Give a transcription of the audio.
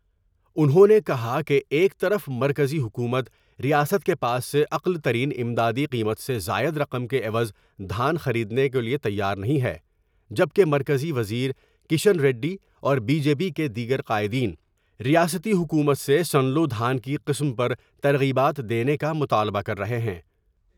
انہوں نے کہا کہ ایک طرف مرکزی حکومت ، ریاست کے پاس سے اقل ترین امدادی قیمت سے زائد رقم کے عوض دھان خرید نے کے لیے تیار نہیں ہے جبکہ مرکزی وزیرکشن ریڈی اور بی جے پی کے دیگر قائدین ، ریاستی حکومت سے سنلو دھان کی قسم پر ترغیبات دینے کا مطالبہ کرر ہے ہیں ۔